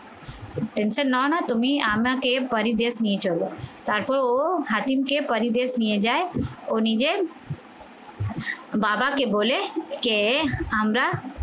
tention নাও না তুমি আমাকে পরী দেশ নিয়ে চলো তারপর ও হাকিমকে পরী দেশ নিয়ে যায় ও নিজের বাবাকে বলে কে আমরা